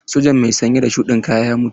Sojan mai sanye da shuɗin kaya ya mutu.